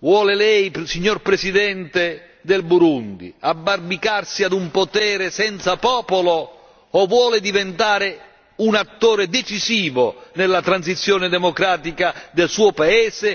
vuole Lei, signor Presidente del Burundi, abbarbicarsi ad un potere senza popolo o vuole diventare un attore decisivo nella transizione democratica del suo paese?